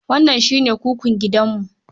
Wannan shi ne kukun gidanmu.